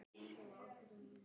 Jóhann sat í hreppsnefnd.